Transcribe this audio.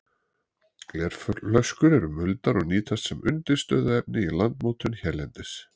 Glerflöskur eru muldar og nýtast sem undirstöðuefni í landmótun hérlendis.